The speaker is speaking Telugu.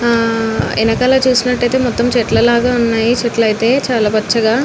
హా వెనకాల చూసినట్టు అయితే మొత్తం చెట్ల లాగా ఉన్నాయి చెట్లు అయితే చాల పచ్చగా --